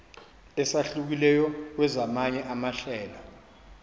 esahlukileyo kwezamanye amahlelo